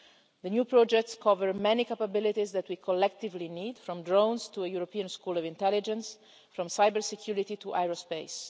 The new projects cover many capabilities that we collectively need, from drones to a European School of Intelligence, from cybersecurity to aerospace.